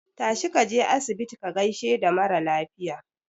Tashi kaje asibiti ka gaishe da maralafiya